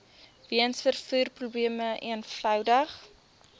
weens vervoerprobleme eenvoudig